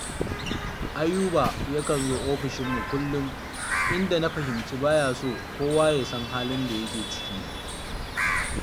Ayuba yakan zo ofishinmu kullum, inda na fahimci ba ya so kowa ya san halin da yake ciki